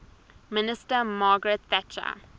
minister margaret thatcher